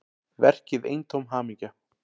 Verkið eintóm hamingja